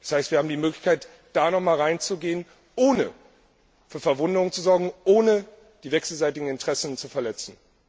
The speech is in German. Das heißt, wir haben die Möglichkeit, da nochmals rein zu gehen, ohne für Verwunderung zu sorgen, ohne die wechselseitigen Interessen zu verletzen.